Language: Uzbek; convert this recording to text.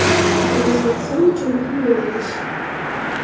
Bu O‘zbekiston uchun muhim yo‘nalish.